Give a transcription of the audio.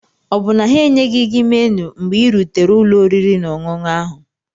Ọ bụ na ha enyeghị gị menu mgbe ị rutere ụlọ oriri na ọṅụṅụ ahụ?